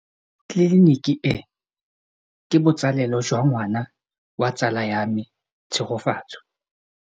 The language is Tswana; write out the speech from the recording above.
Tleliniki e, ke botsalêlô jwa ngwana wa tsala ya me Tshegofatso.